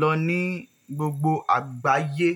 lọ ní gbogbo àgbáyé.